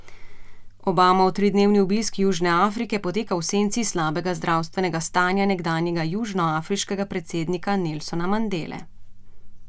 Obamov tridnevni obisk Južne Afrike poteka v senci slabega zdravstvenega stanja nekdanjega južnoafriškega predsednika Nelsona Mandele.